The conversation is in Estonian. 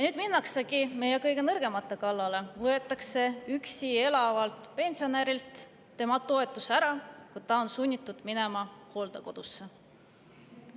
Minnaksegi meie kõige nõrgemate kallale, võetakse üksi elavalt pensionärilt ära tema toetus, kui ta on sunnitud minema hooldekodusse.